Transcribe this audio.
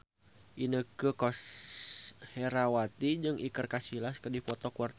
Inneke Koesherawati jeung Iker Casillas keur dipoto ku wartawan